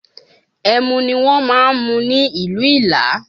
Ẹmu ni wọn ń mu ní ìlú Ìlá